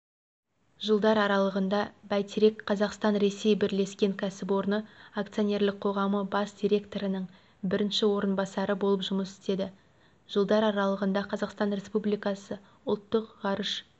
жылдар аралығында бәйтерек қазақстан-ресей бірлескен кәсіпорны акционерлік қоғамы бас директорының бірінші орынбасары болып жұмыс істеді жылдар аралығында қазақстан республикасы ұлттық ғарыш